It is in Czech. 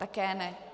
Také ne.